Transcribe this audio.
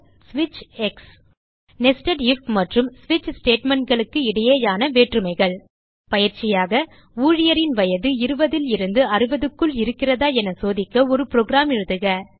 ஸ்விட்ச் nested if மற்றும் ஸ்விட்ச் statementகளுக்கிடையேயான வேற்றுமைகள் பயிற்சியாக ஊழியரின் வயது 20 லிருந்து 60க்குள் இருக்கிறதா என சோதிக்க ஒரு புரோகிராம் எழுதுக